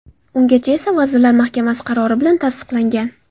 Ungacha esa Vazirlar Mahkamasi qarori bilan tasdiqlangan.